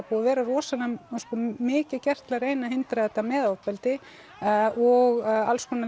búið að vera rosalega mikið gert til að reyna að hindra að þetta með ofbeldi og alls konar